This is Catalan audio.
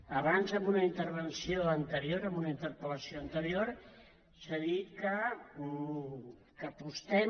abans en una intervenció anterior en una interpel·lació anterior s’ha dit que apostem